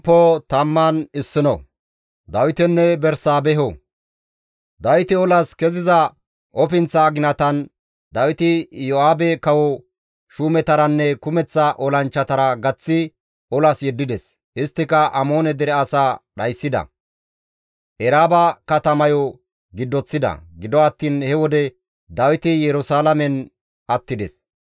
Kawoti olas keziza ofinththa aginatan Dawiti Iyo7aabe kawo shuumetaranne kumeththa olanchchatara gaththi olas yeddides; isttika Amoone dere asaa dhayssida; Eraaba katamayo giddoththida; gido attiin he wode Dawiti Yerusalaamen attides.